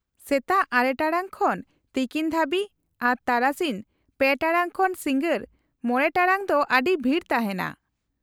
-ᱥᱮᱛᱟᱜ ᱙ ᱴᱟᱲᱟᱝ ᱠᱷᱚᱱ ᱛᱤᱠᱤᱱ ᱫᱷᱟᱹᱵᱤᱡ, ᱟᱨ ᱛᱟᱨᱟᱥᱤᱧ ᱓ ᱴᱟᱲᱟᱝ ᱠᱷᱚᱱ ᱥᱤᱜᱟᱸᱲ ᱕ ᱴᱟᱲᱟᱝ ᱫᱚ ᱟᱹᱰᱤ ᱵᱷᱤᱲ ᱛᱟᱦᱮᱸᱱᱟ ᱾